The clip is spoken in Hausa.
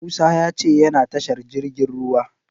Musa ya ce yana tashar jirgin ruwa.